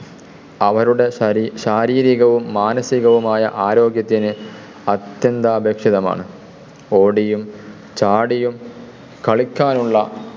അവരുടെ ശാരീരികവും മാനസികവും ആയ ആരോഗ്യത്തിന് അത്യന്താപേക്ഷിതമാണ്. ഓടിയും ചാടിയും കളിക്കാനുള്ള